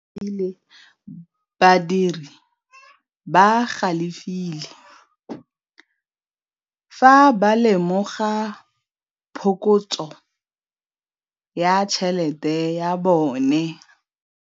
Badiri ba galefile fa ba lemoga phokotsô ya tšhelête ya bone.